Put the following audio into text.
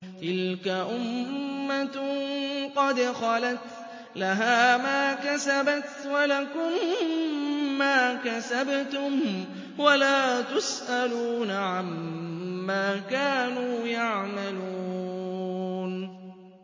تِلْكَ أُمَّةٌ قَدْ خَلَتْ ۖ لَهَا مَا كَسَبَتْ وَلَكُم مَّا كَسَبْتُمْ ۖ وَلَا تُسْأَلُونَ عَمَّا كَانُوا يَعْمَلُونَ